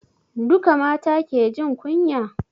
Duka mata ke jin kunya?